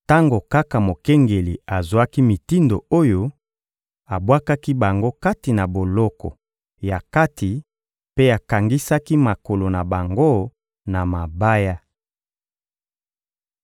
Tango kaka mokengeli azwaki mitindo oyo, abwakaki bango kati na boloko ya kati mpe akangisaki makolo na bango na mabaya.